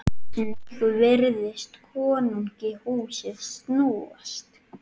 Einnig virtist konungi húsið snúast.